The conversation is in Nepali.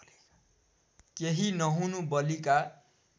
केही नहुनु बलिका